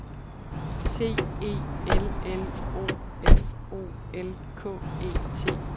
C E L L O F O L K E T